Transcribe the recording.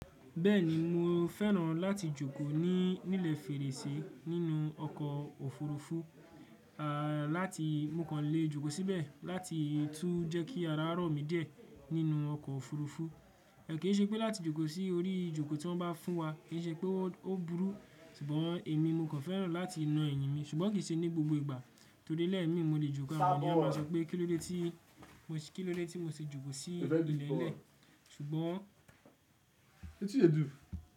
Bẹ́ẹ̀ni mo fẹ́ràn láti jókòó nílé fèrèsé nínú ọkọ̀ òfurufú, à láti mo kàn lè jókòó síbẹ̀ láti tún jẹ́ kí yàrá ọ̀rọ̀ mi díẹ̀ nínú ọkọ̀ òfurufú. Kò kí í ṣe pé láti jókòó sí orí ìjókòó tí wọ́n bá fún wa, kí í ṣe pé ó burú. Ṣùgbọ́n èmi mo kàn fẹ́ràn láti na eyín mi, ṣùgbọ́n kì í ṣe ní gbogbo ìgbà torí lẹ́ẹ̀ mi mo lè jókòó àwọn ènìyàn máa sọ pé kí ló dé tí mo ṣe, kí ló dé tí mo ṣe jókòó sí ilẹ̀ lẹ́ẹ̀. Ṣùgbọ́n.